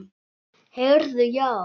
Heyrðu já.